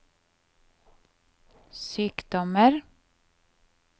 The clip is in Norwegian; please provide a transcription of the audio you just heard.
sykdommer